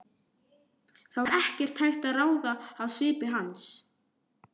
Það var ekkert hægt að ráða af svip hans.